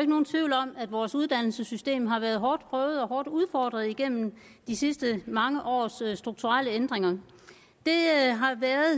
ikke nogen tvivl om at vores uddannelsessystem har været hårdt prøvet og hårdt udfordret igennem de sidste mange års strukturelle ændringer